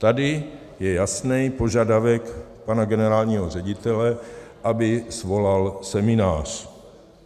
Tady je jasný požadavek pana generálního ředitele, aby svolal seminář.